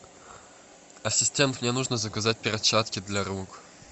ассистент мне нужно заказать перчатки для рук